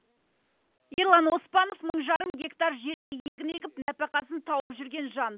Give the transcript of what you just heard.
ерлан оспанов мың жарым гектар жерге егін егіп нәпақасын тауып жүрген жан